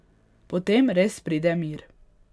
Potem res pride mir.